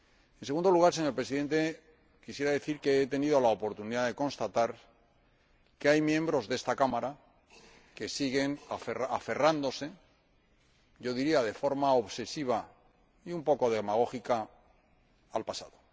En segundo lugar, señor Presidente, quisiera decir que he tenido la oportunidad de constatar que hay miembros de esta Cámara que siguen aferrándose yo diría de forma obsesiva y un poco demagógica al pasado.